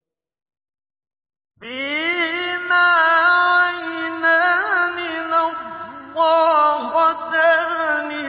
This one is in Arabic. فِيهِمَا عَيْنَانِ نَضَّاخَتَانِ